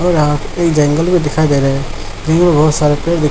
और एक जंगल भी दिखाई दे रहे है जंगल मे बहुत सारे पेड़ दि--